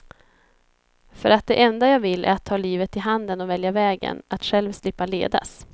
För att det enda jag vill är att ta livet i handen och välja vägen, att själv slippa ledas.